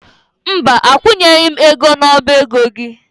Mba, akwụnyeghị m ego n'ọba ego gị.